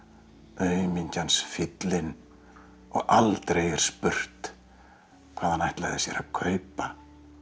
aumingjans fíllinn og aldrei er spurt hvað hann ætlaði sér að kaupa